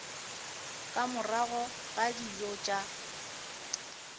ka morago ga dijo tša